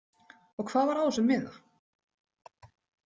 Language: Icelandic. Og hvað var á þessum miða?